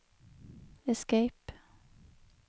escape